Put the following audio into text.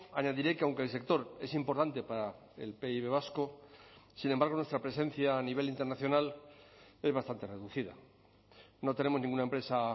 añadiré que aunque el sector es importante para el pib vasco sin embargo nuestra presencia a nivel internacional es bastante reducida no tenemos ninguna empresa